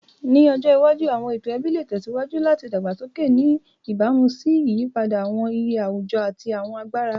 Ni ọjọ iwaju, awọn eto ẹbi le tẹsiwaju lati dagbasoke, ni ibamu si iyipada awọn iye awujọ ati awọn agbara.